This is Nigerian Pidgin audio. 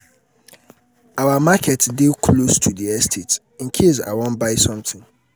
our market dey close to the estate in case i wan buy something.